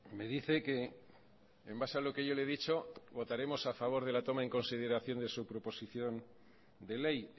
me dice que en base a lo que yo le he dicho votaremos a favor de la toma en consideración de su proposición de ley